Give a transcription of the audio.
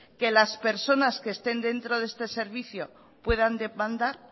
que las personas que estén dentro de este servicio puedan demandar